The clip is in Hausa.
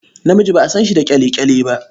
Namiji ba a san shi da ƙyale-ƙyale ba.